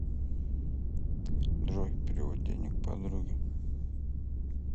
джой перевод денег подруге